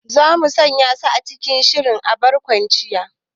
Za mu sanya su cikin shirin barkwancin